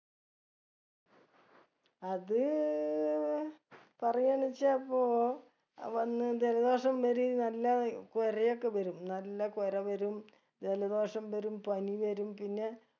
അത് പറയാന്ന് വെച്ച ഇപ്പൊ അത് വന്ന് ജലദോഷം വരു നല്ല കൊരയൊക്കെ വരും നല്ല കൊര വരും ജലദോഷം വരും പനി വരും പിന്നെ